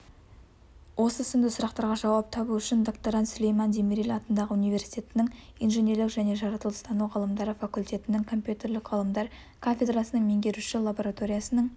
осы сынды сұрақтарға жауап табу үшін докторант сүлейман демирел атындағы университеттің инженерлік және жаратылыстану ғылымдары факультетінің компьютерлік ғылымдар кафедрасының меңгерушісі лабораториясының